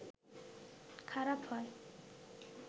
খারাপ হয়